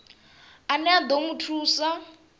ane a ḓo mu thusa